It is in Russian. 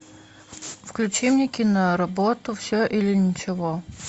включи мне киноработу все или ничего